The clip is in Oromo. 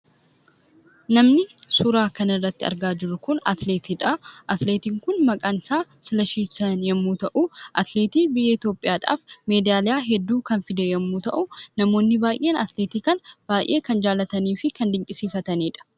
Namni suuraa kanarratti argaa jirru kun atileetiidha. Atileetiin kun maqaan isaa Silashii yommuu ta'u, atileetii biyya Itoophiyaadhaaf meedaaliyaa hedduu kan fide yommuu ta'u, namoonni baay'een atileetii kana baay'ee kan jaallatanii fi kan dinqisiifatanidha.